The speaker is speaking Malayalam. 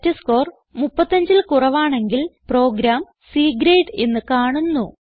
ടെസ്റ്റ്സ്കോർ 35ൽ കുറവാണെങ്കിൽ പ്രോഗ്രാം C ഗ്രേഡ് എന്ന് കാണുന്നു